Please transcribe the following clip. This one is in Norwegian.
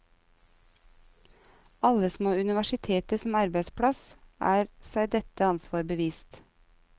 Alle som har universitetet som arbeidsplass, er seg dette ansvar bevisst.